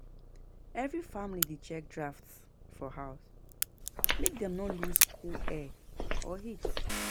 Every family dey check drafts for house make dem no lose cool air or heat.